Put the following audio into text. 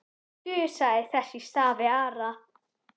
Þusaði þess í stað við aðra.